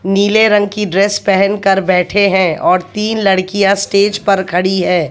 नीले रंग की ड्रेस पहन कर बैठे हैं और तीन लड़कियां स्टेज पर खड़ी हैं।